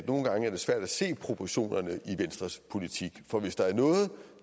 nogle gange er svært at se proportionerne i venstres politik for hvis der er noget